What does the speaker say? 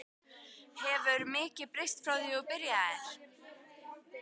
Hefur mikið breyst frá því þú byrjaðir?